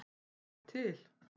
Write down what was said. Þú ert til.